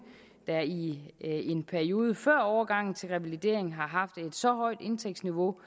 der i en periode før overgangen til revalidering har haft et så højt indtægtsniveau